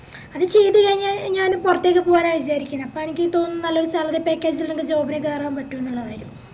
അത് ചെയ്ത് കയിഞ്ഞ ഞാനും പൊറത്തേക്ക് പോവാനാ വിചാരിക്കുന്നെ അപ്പൊ എനക്കിപ്പോ നല്ലൊരു salary package ഇള്ളൊരു job ന് കേറാൻ പറ്റുന്നുള്ള കാര്യം